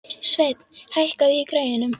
Sveinn, hækkaðu í græjunum.